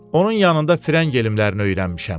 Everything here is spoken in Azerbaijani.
Onun yanında frəng elimlərini öyrənmişəm.